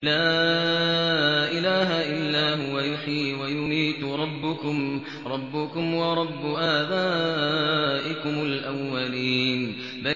لَا إِلَٰهَ إِلَّا هُوَ يُحْيِي وَيُمِيتُ ۖ رَبُّكُمْ وَرَبُّ آبَائِكُمُ الْأَوَّلِينَ